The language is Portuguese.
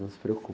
Não se preocupe.